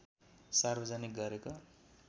सार्वजनिक गरेको